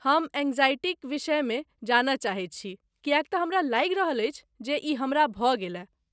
हम एंग्जायटीक विषयमे जानय चाहैत छी किएक तँ हमरा लागि रहल अछि जे ई हमरा भऽ गेलय।